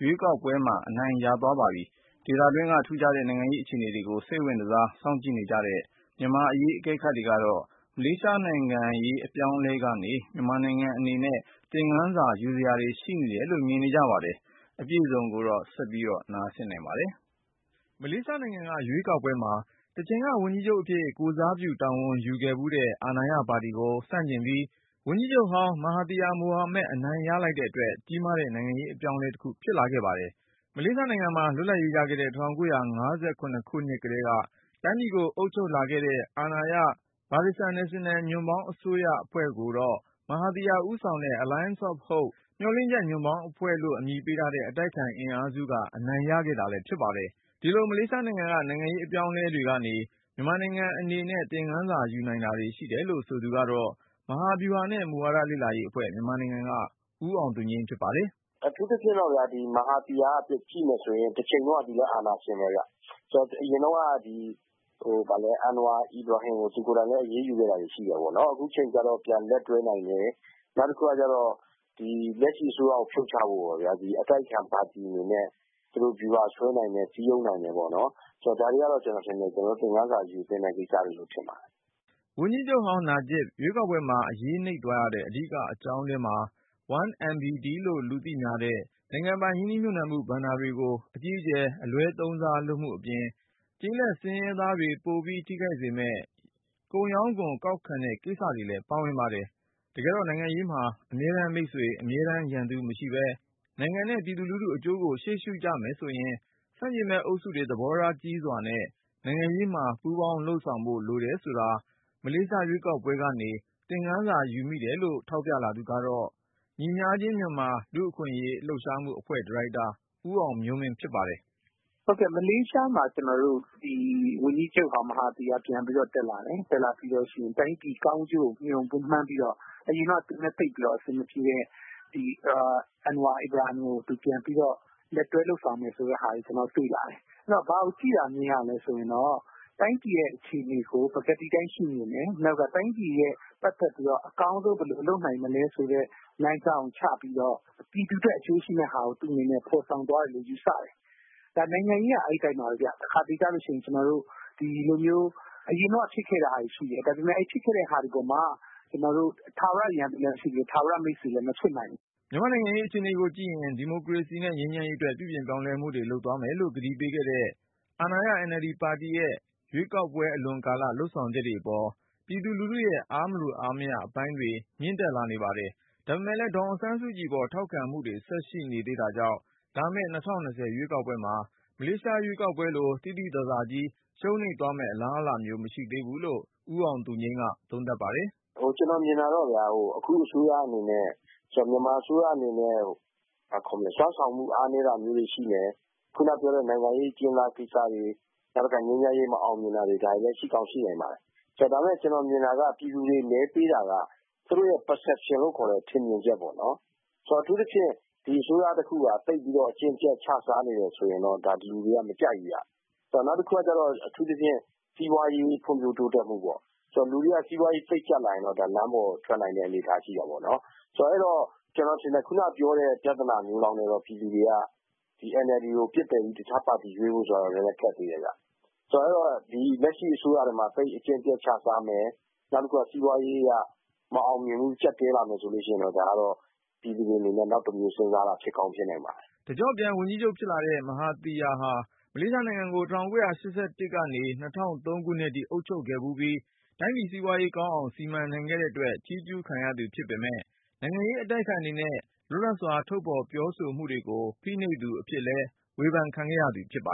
ရွေးကောက်ပွဲမှာ အနိုင်ရသွားပါပြီ။ ဒေသတွင်းက ထူးခြားတဲ့ နိုင်ငံရေး အခြေအနေတွေကို စိတ်ဝင်တစား စောင့်ကြည့်နေကြတဲ့ မြန်မာ့အရေး အကဲခတ်တွေကတော့၊ မလေးရှားနိုင်ငံရေး အပြောင်းအလဲကနေ မြန်မာ့နိုင်ငံ အနေနဲ့ သင်ခန်းစာယူစရာတွေ ရှိနေတယ်လို့လည်း မြင်ကြပါတယ်။ အပြည့်အစုံကိုတော့ ကိုဉာဏ်ဝင်းအောင်က စုစည်းတင်ပြထားပါတယ်။ မလေးရှားနိုင်ငံက ရွေးကောက်ပွဲမှာ တချိန်က ဝန်ကြီးချုပ်အဖြစ် ကိုယ်စားပြုတာဝန်ယူခဲ့ဖူးတဲ့ အာဏာရပါတီကို ဆန့်ကျင်ပြီး၊ ဝန်ကြီးချုပ်ဟောင်း Mahathir Mohamad အနိုင်ရလိုက်တဲ့အတွက် ကြီးမားတဲ့ နိုင်ငံရေး အပြောင်းအလဲတခု ဖြစ်ခဲ့တာပါ။ မလေးရှားနိုင်ငံမှာ လွတ်လပ်ရေးရခဲ့တဲ့ ၁၉၅၇ ခုနှစ်ကတည်းက တိုင်းပြည်ကို အုပ်ချုပ်လာခဲ့တဲ့ အာဏာရ Barisan National ညွန့်ပေါင်းအစိုးရကိုတော့ မဟာသီယာ ဦးဆောင်တဲ့ Alliance of Hope မျှော်လင့်ချက် ညွန့်ပေါင်းအဖွဲ့လို့ အမည်ပေးထားတဲ့ အတိုက်အခံ အင်အားစုက အနိုင်ရခဲ့တာလည်း ဖြစ်ပါတယ်။ ဒီလိုမလေးရှားနိုင်ငံက နိုင်ငံရေး အပြောင်းအလဲတွေကနေ မြန်မာနိုင်ငံအနေနဲ့ သင်ခန်းစာယူနိုင်တာတွေ ရှိတယ်လို့ ဆိုသူကတော့ မဟာဗျူဟာနဲ့ မူဝါဒလေ့လာရေးအဖွဲ့ က ဦးအောင်သူငြိမ်း ဖြစ်ပါတယ်။ "အထူးသဖြင့်တော့ Maharhir ကိုကြည့်မယ်ဆိုရင်တချိန်တုန်းကလည်း အာဏာရှင်ပဲခင်ဗျ။ အရင်တုန်းကလည်း အန်နဝါကို သူကိုယ်တိုင် အရေးယူခဲ့တာရှိတယ်ပေါ့နော် အခု ကျတော့ ပြန်လက်တွဲနိုင်တယ်။ နောက်တခုကျတော့ လက်ရှိအစိုးရကို ဖြုတ်ချဖို့ အတိုက်အခံပါတီဝင်တွေနဲ့ သူတို့ စည်းရုံးနိုင်တယ်ပေါ့နော် ဒါတွေကတော့ ကျနော်ထင်တယ် သင်ခန်းစာယူသင့်တဲ့ ကိစ္စလို့ ကျနော်ထင်ပါတယ်။" ဝန်ကြီးချုပ်ဟောင်း နာဂျစ်ဘ် ရွေးကောက်ပွဲမှာ အရေးနိမ့်သွားရတဲ့ အဓိကအကြောင်းထဲမှာ 1MDB လို့လူသိများတဲ့ နိုင်ငံပိုင် ရင်းနှီးမြှုပ်နှံမှု ဘဏ္ဍာတွေကို အကြီးအကျယ် အလွဲှသုံးစားလုပ်မှုအပြင်၊ ကျေးလက်ဆင်းရဲသားတွေ ပိုပြီးထိခိုက်စေမယ့် ကုန်ရောင်းခွန် ကောက်ခံတဲ့ကိစ္စ တွေလည်း ပါဝင်ပါတယ်။ တကယ်တော့ နိုင်ငံရေးမှာ အမြဲတမ်းမိတ်ဆွေ အမြဲတမ်းရန်သူမရှိပဲ၊ နိုင်ငံနဲ့ ပြည်သူလူထုအကျိုးကို ရှေ့ရှုကြမယ်ဆိုရင် ဆန့်ကျင်ဘက် အုပ်စုတွေ သဘောထားကြီးစွာ နိုင်ငံရေးမှာ ပူးပေါင်းလုပ်ဆောင်ဖို့ လိုတယ်ဆိုတာကို မလေးရှားရွေးကောက်ပွဲကနေ သင်္ခန်းစာယူမိတယ်လို့ ထောက်ပြလာသူကတော့ ညီမျှခြင်းမြန်မာ လူ့အခွင့်အရေးလှုပ်ရှားမှုအဖွဲ့ ဒါရိုက်တာ ဦးအောင်မျိုးမင်း ဖြစ်ပါတယ်။ "မလေးရှားမှာ ဝန်ကြီးချုပ်ဟောင်း မဟာသီယာ ပြန်ပြီးတော့ တက်လာတယ်။ တိုင်းပြည်ကောင်းကျိုးကိုမျှော်မှန်းပြီးတော့ အရင်တုန်းက သူနဲ့ သိပ်အဆင်မပြေတဲ့ Anwar Ibrahim ကို လက်တွဲလုပ်ဆောင်မယ်ဆိုတဲ့ဟာကို ကျနော်တွေ့လာတယ်။ နောက်ပြီးတော့ ဘာမြင်ရသလဲဆိုတော့ တိုင်းပြည်အခြေအနေကို ပကတိအတိုင်း ရှုမြင်တယ် နောက်ပြီးတော့ တိုင်းပြည်အတွက်အကောင်းဆုံးဘယ်လိုလုပ်နိုင်မလဲဆိုတဲ့ လမ်းကြောင်းကို ချပြီးတော့ ပြည်သူအတွက်အကျိုးရှိမယ့်ဟာကို သူ့အနေနဲ့ ဖော်ဆောင်သွားတယ်လို့ ယူဆတယ်။ နိုင်ငံရေးကအဲဒီအတိုင်းပါပဲခင်ဗျ။ တခါတလေကျရင် အရင်တုန်းကဖြစ်ခဲ့တာတွေရှိတယ် ။ အဲဒါတွေက ထာဝရ ရန်သူမဖြစ်နိုင်သလို၊ ထာဝရမိတ်ဆွေလည်း မဖြစ်နိုင်ဘူး။" မြန်မာ့နိုင်ငံရေး အခြေအနေကိုကြည့်ရင် ဒီမိုကရေစီနဲ့ ငြိမ်းချမ်းရေအတွက် ပြုပြင်ပြောင်းလဲမှုတွေ လုပ်သွားမယ်လို့ ကတိပေးခဲ့တဲ့ အာဏာရ NLD ပါတီရဲ့ ရွေးကောက်အလွန်ကာလ လုပ်ဆောင်ချက်တွေအပေါ် ပြည်သူလူထုရဲ့ အားမလိုအားမရ အပိုင်းတွေ မြင့်တက်လာနေပါတယ်။ ဒါပေမယ့်လည်း ဒေါ်အောင်ဆန်းစုကြည်အပေါ် ထောက်ခံမှုတွေ ဆက်ရှိနေသေးတာကြောင့် လာမယ့် ၂၀၂၀ ရွေးကောက်ပွဲမှာ မလေးရှား ရွေးကောက်ပွဲလို သိသိသာသာကြီး ရှုံးနိမ့်သွားမယ့်အလားအလာ မရှိသေးဘူးလို့ ဦးအောင်သူငြိမ်းက သုံးသပ်ပါတယ်။ "ကျနော်မြင်တာကတော့ အခုအစိုးရအနေနဲ့ စွမ်းဆောင်မှုအားနည်းတာမျိုးတွေရှိမယ်။ ခုနက အကျဉ်းသားကိစ္စတွေ ငြိမ်းချိမ်းရေးမအောင်မြင်တာတွေ ဒါတွေရှိနိုင်ပါတယ်။ ဒါပေမယ့် ကျနော်မြင်တာက ပြည်သူတွေမဲပေးတာက သူတို့ Perception လို့ခေါ်တဲ့ ထင်မြင်ချက်ပေါ့နော် ။ ဒီအစိုးရက သိပ်ပြီးတော့ အကျင့်ပျက်ချစားနေတယ်ဆိုရင်တော့ ဒီလူတွေက မကြိုက်ဘူးခင်ဗျ ။ နောက်တခုကအထူးသဖြင့် စီးပွားရေး ဖွံ့ဖြိုးတိုးတက်မှုပေါ့နော်။ စီးပွားရေး သိပ်ကျပ်လာရင်တော့ လမ်းပေါ်ထွက်လာနိုင်တဲ့ အနေအထားရှိတယ်ပေါ့နော်။ အဲဒီတော့ ကျနော်ထင်တယ် ခုနကပြောတဲ့ ပြဿနာမျိုးလောက်နဲ့တော့ ပြည်သူတွေက NLD ကိုပစ်ပယ်ပြီး တခြားပါတီရွေးဖို့ဆိုတာကလည်း ခက်သေးတယ်ခင်ဗျ။ ဆိုတော့ လက်ရှိအစိုးရထဲမှာ အကျင့်ပျက်ချစားတယ် ၊ စီးပွားရေးက မအောင်မြင်ဘူး ကျပ်တည်းလာတယ်ဆိုရင်တော့ ပြည်သူတွေအနေနဲ့ တောက်တမျိုး စဉ်းစားလာမှာ ဖြစ်ကောင်းဖြစ်နိုင်ပါတယ်။" တကျော့ပြန် ဝန်ကြီးချုပ် ဖြစ်လာတဲ့ မဟာသီယာဟာ မလေးရှားနိုင်ငံကို ၁၉၈၁ ခုနှစ်ကနေ ၂၀၀၃ ခုနှစ်အထိ အုပ်ချုပ်ခဲ့ဖူးပြီး တိုင်းပြည်စီးပွားရေး ကောင်းအောင် စီမံနိုင်ခဲ့တဲ့အတွက် ချီးကျုးခံရသူ ဖြစ်ပေမဲ့ နိုင်ငံရေး အတိုက်အခံတွေနဲ့ လွတ်လပ်စွာ ထုတ်ဖော်ပြောဆိုမှုတွေကို ဖိနှိပ်သူအဖြစ်နဲ့လည်း ဝေဖန်ခံရသူ ဖြစ်ပါ